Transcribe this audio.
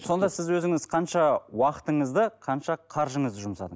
сонда сіз өзіңіз қанша уақытыңызды қанша қаржыңызды жұмсадыңыз